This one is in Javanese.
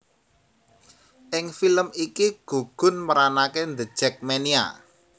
Ing film iki gugun meranaké The Jakmania